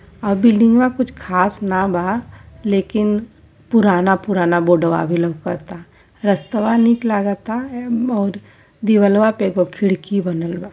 आ हव बिल्डिंगवा कुछ खास ना बा लेकिन पुराना-पुराना बोर्डवा अबे लउकता। रस्तवा निक लगता और दीवालवा पे एगो खिड़की बनल बा।